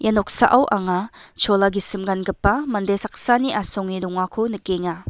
ia noksao anga chola gisim gangipa mande saksani asonge dongako nikenga.